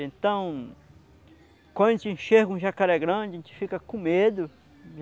Então, quando a gente enxerga um jacaré grande, a gente fica com medo.